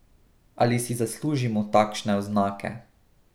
Ali si zaslužimo takšne oznake?